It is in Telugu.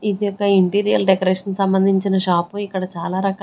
ఇది ఒక ఇంటీరియర్ డెకొరేషన్ సంబంధించిన షాప్ ఇక్కడ చాలా రకాల--